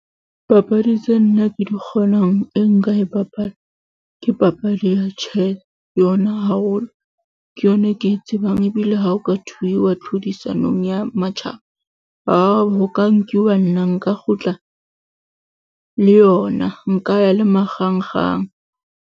Papadi tse nna ke di kgonang e nka e bapala ke papadi ya , yona haholo ke yona e ke e tsebang, ebile ha ho ka thwe ho iwa tlhodisanong ya matjhaba, a ho ka nkiwa nna nka kgutla le yona nka ya le .